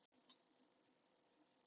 Svo lýkur greininni með þessum orðum